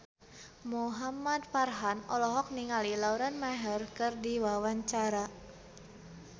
Muhamad Farhan olohok ningali Lauren Maher keur diwawancara